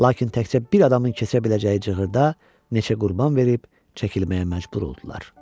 Lakin təkcə bir adamın keçə biləcəyi cığırda neçə qurban verib, çəkilməyə məcbur oldular.